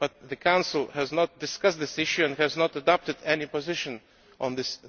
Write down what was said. However, the Council has not discussed this issue and has not adopted any position on it.